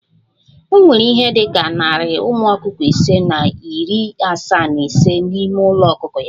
O nwere ihe dị ka narị ụmụ ọkụkọ ise na iri asaa na ise n'ime ulo ọkụkọ ya